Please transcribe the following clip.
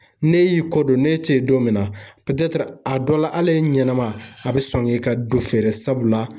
Ne y'i ko don n'e te yen don min na a dɔ la hal'e ɲɛnama a be sɔn k'i ka du feere sabula